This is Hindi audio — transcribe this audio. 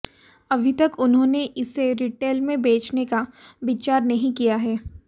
अभी तक उन्होंने इसे रिटेल में बेचने का विचार नहीं किया है